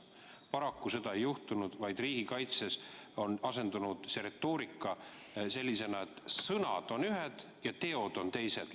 Paraku seda ei juhtunud, vaid riigikaitses on see retoorika asendunud sellisega, et sõnad on ühed ja teod on teised.